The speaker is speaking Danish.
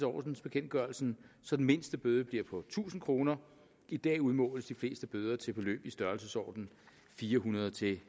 ordensbekendtgørelsen så den mindste bøde bliver på tusind kroner i dag udmåles de fleste bøder til beløb i størrelsesordenen fire hundrede til